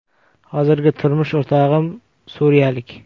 Hozirgi turmush o‘rtog‘im suriyalik.